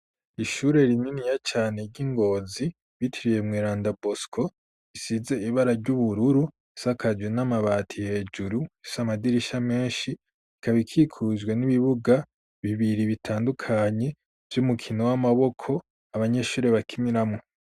Ishure rininiya cane ry'ingozi bitiriye Mweranda Bosco isize ibara ry'ubururu sakajwe n'amabati hejuru ifise amadirisha menshi ikaba ikikujwe n'ibibuga bibiri bitandukanye vy'umukino w'amaboko abanyeshure bakimiramwo.